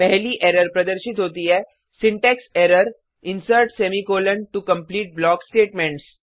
पहली एरर प्रदर्शित होती है syntax error insert semi colon to complete block statements